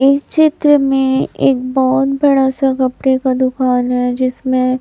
इस चित्र में एक बहोत बड़ा सा कपड़े का दुकान है जिसमें--